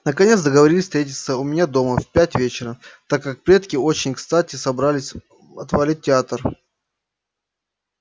наконец договорились встретиться у меня дома в пять вечера так как предки очень кстати собрались отвалить в театр